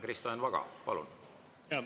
Kristo Enn Vaga, palun!